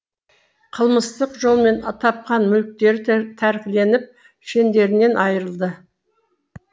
қылмыстық жолмен тапқан мүліктері тәркіленіп шендерінен айырылды